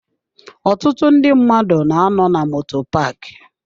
Ọtụtụ ndị mmadụ na-anọ na moto paaki.